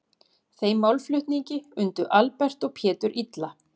Þeim málflutningi undu Albert og Pétur illa.